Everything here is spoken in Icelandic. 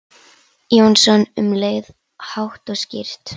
Jónsson um leið, hátt og skýrt.